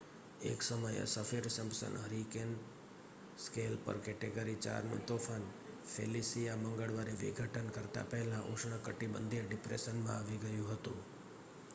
એક સમયે Saffir Simpson hurricane scale પર કેટેગરી 4નું તોફાન ફેલિસિયા મંગળવારે વિઘટન કરતા પહેલા ઉષ્ણકટિબંધીય ડિપ્રેશનમાં આવી ગયું હતું